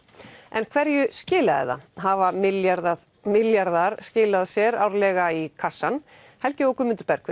en hverju skilaði það hafa milljarðar milljarðar skilað sér árlega í kassann helgi og Guðmundur